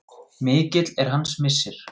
Mikill er hans missir.